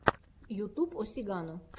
ютуб о сигано